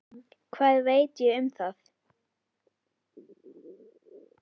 Hvað veit ég um það?